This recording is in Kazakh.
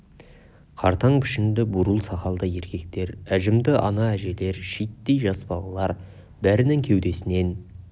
қартаң пішінді бурыл сақалды еркектер әжімді анаәжелер шиеттей жас балалар бәрінің кеудесінен